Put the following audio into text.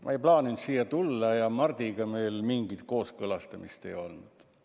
Ma ei plaaninud siia tulla ja Mardiga meil mingit kooskõlastamist ei olnud.